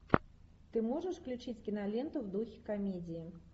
ты можешь включить киноленту в духе комедии